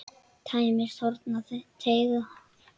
Tæmist horn þá teygað er.